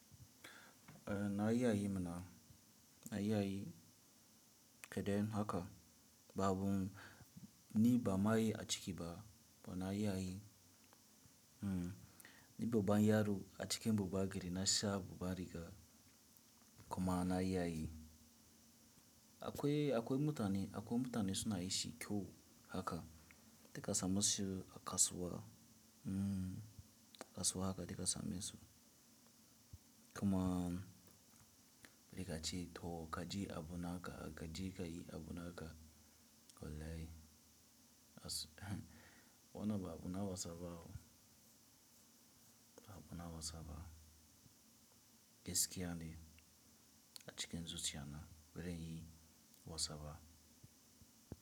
Eh na yi a yi mana, na iya yi ƙeden haka babu, ni ba ma yi a ciki ba, ba na yi a yi. Hmm, ni baban yaro a cikin babba gari na sha babba riga kuma na iya yi. Akwai, akwai mutane, akwai mutane suna yi shi kyau haka, dika samu su a kasuwa, hmmm kasuwa haka dika samu su. Kaman ne kace to kaje abu naka kaje kai abu naka wallahi. Wannan ba abu na wasaba, ba abu na wasaba. Gaskiya ne acikin zuciya na, baranyi wasaba.